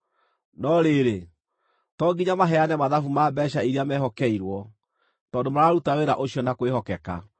No rĩrĩ, to nginya maheane mathabu ma mbeeca iria meehokeirwo, tondũ mararuta wĩra ũcio na kwĩhokeka.”